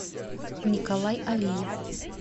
николай алиев